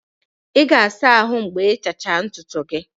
Ị ga-asa ahụ mgbe ịchacha ntutu gị.